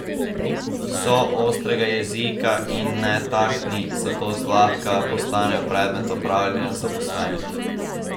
So ostrega jezika in netaktni, zato zlahka postanejo predmet opravljanja zaposlenih.